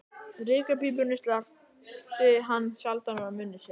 Reykjarpípunni sleppti hann sjaldan úr munni sér.